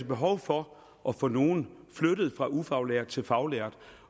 behov for at få nogle flyttet fra ufaglært til faglært